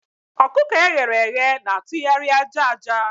ọkụkọ e ghere eghe na-atụgharị aja aja.